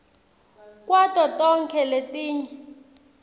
kwato tonkhe letinye